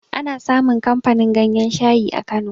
Ana samun kamfanin ganyan shayi a kano